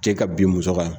Cɛ ka bin muso kan